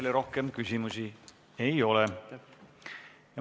Teile rohkem küsimusi ei ole.